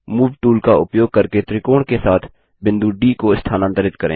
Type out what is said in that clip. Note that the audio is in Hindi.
मूव टूल का उपयोग करके त्रिकोण के साथ बिंदु डी को स्थानांतरित करें